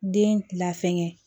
Den la fɛngɛ